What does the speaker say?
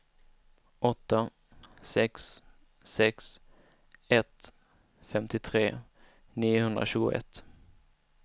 åtta sex sex ett femtiotre niohundratjugoett